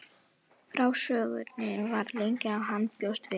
Frásögnin varð lengri en hann bjóst við.